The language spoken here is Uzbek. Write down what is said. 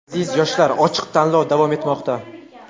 Aziz yoshlar ochiq tanlov davom etmoqda.